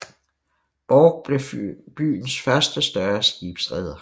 Borch blev byens første større skibsreder